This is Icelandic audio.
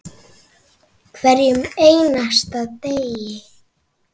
Hverjum einasta degi.